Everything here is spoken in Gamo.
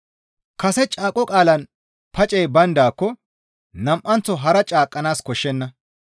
Kase caaqo qaalaan pacey bayndaako nam7anththo hara caaqqanaas koshshenna.